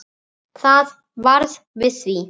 Það varð við því.